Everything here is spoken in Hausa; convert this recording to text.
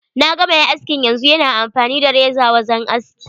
Naga mai askin yanzu, yana amfani da reza wajen aski.